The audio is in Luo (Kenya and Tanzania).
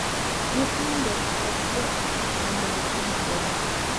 Nyithindo, kod jo ot mamoko madongo,